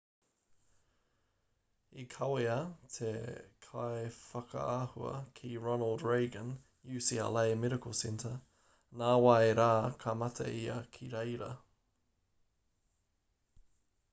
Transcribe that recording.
i kawea te kaiwhakaahua ki ronald reagan ucla medical center nā wai rā ka mate ia ki reira